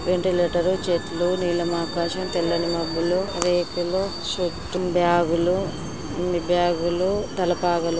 ventilator చెట్లు నీలం ఆకాశం తెల్లని మబ్బులు రేకులు బ్యాగులు బ్యాగులు తల పాగలు--